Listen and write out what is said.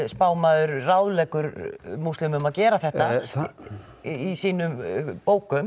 spámaður ráðleggur múslimum að gera þetta í sínum bókum